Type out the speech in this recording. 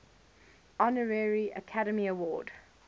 honorary academy award